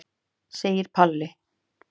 segir Palli.